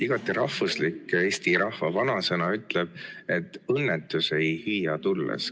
Igati rahvuslik eesti rahva vanasõna ütleb, et õnnetus ei hüüa tulles.